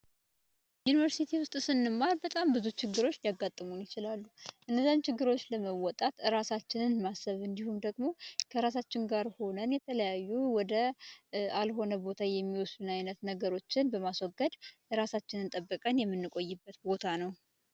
ዩኒቨርስቲ ውስጥ ስንማር በጣም ብዙ ችግሮች ያጋጥመው ይችላሉ ችግሮች ለመወጣት እራሳችንን ማሰብ እንዲሁም ደግሞ ከራሳቸው ጋር ሆነን የተለያዩ ቦታ የሚወስነገሮችን በማስወገድ እራሳችንን ጠብቀን የምንቆይበት ቦታ ነው